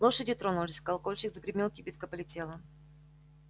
лошади тронулись колокольчик загремел кибитка полетела